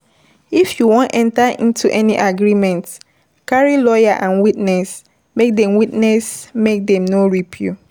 If you wan enter into any agreement, carry lawyer and witness make dem witness make dem no rip you